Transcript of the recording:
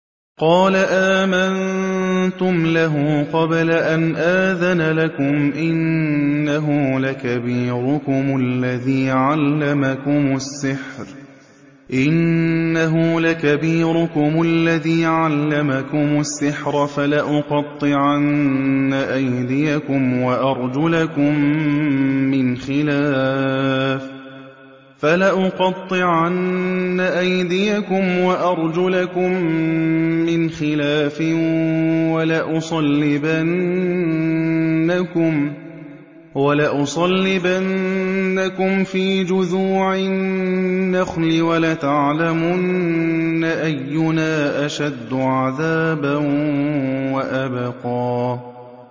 قَالَ آمَنتُمْ لَهُ قَبْلَ أَنْ آذَنَ لَكُمْ ۖ إِنَّهُ لَكَبِيرُكُمُ الَّذِي عَلَّمَكُمُ السِّحْرَ ۖ فَلَأُقَطِّعَنَّ أَيْدِيَكُمْ وَأَرْجُلَكُم مِّنْ خِلَافٍ وَلَأُصَلِّبَنَّكُمْ فِي جُذُوعِ النَّخْلِ وَلَتَعْلَمُنَّ أَيُّنَا أَشَدُّ عَذَابًا وَأَبْقَىٰ